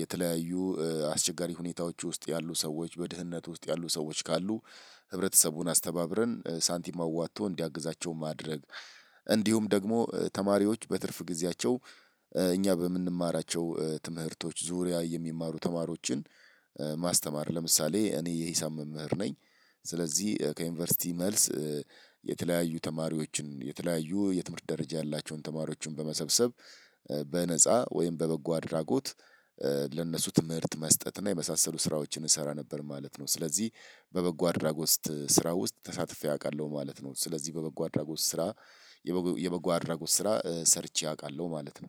የተለያዩ አስቸጋሪ ሁኔታዎች ውስጥ ያሉ ሰዎች በድህነት ውስጥ ያሉ ሰዎች ካሉ ህብረተሰቡን አስተባብረን ሳንቲም አዋጥቶ እንዲያግዛቸው ማድረግ። እንዲሁም ደግሞ ተማሪዎች በትርፍ ጊዜያቸው እኛ በምንማራቸው ትምህርቶች ዙሪያ የሚማሩ ተማሪዎችን። ማስተማር ለምሳሌ እኔ የሂሳብ መምህር ነኝ። ስለዚህ ከዩኒቨርሲቲ መልስ። የተለያዩ ተማሪዎችን የተለያዩ የትምህርት ደረጃ ያላቸውን ተማሪዎችን በመሰብሰብ በነፃ ወይም በበጎ አድራጎት። ለእነሱ ትምህርት መስጠት እና የመሳሰሉ ስራዎችን እሰራ ነበር ማለት ነው። ስለዚህ በበጎ አድራጎት ስራ ውስጥ ተሳትፌ አውቃለሁ ማለት ነው። ስለዚህ በበጎ አድራጎት ስራ የበጎ አድራጎት ስራ ሰርቼ አውቃለሁ ማለት ነው።